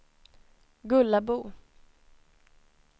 Gullabo